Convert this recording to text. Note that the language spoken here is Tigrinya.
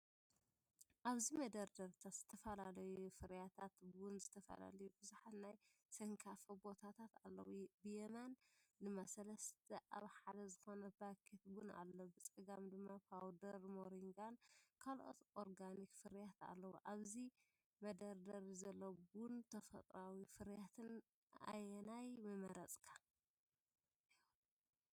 ኣብዚ መደርደሪታት ዝተፈላለዩ ፍርያት ቡን፡ ዝተፈላለዩ ብዙሓት ናይ ነስካፈ ቦታታት ኣለዉ፡ ብየማን ድማ 3 ኣብ 1 ዝኾነ ፓኬት ቡን ኣሎ። ብጸጋም ድማ ፓውደር ሞሪንጋን ካልኦት ኦርጋኒክ ፍርያትን ኣለዉ። ካብዚ መደርደሪ ዘሎ ቡንን ተፈጥሮኣዊ ፍርያትን ኣየናይ ምመረጽካ?